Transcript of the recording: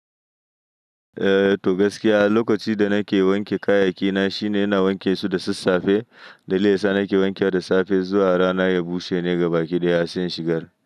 Eh to gaskiya, lokacin da nake wanke kayyayakina shine ina wanke su da sassafe, dalilin da yasa a nake wankewa da safe zuwa rana ya bushe ne gaba ki ɗaya se in shigar.